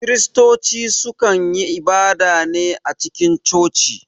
Kiristoci su kan yi ibada ne a cikin coci